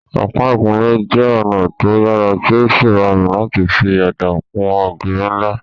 Ọ̀pá ìkunlé jẹ́ ọ̀nà tó yàrá tí ó sì rọrùn láti fi ọ̀dà kun ògiri ńlá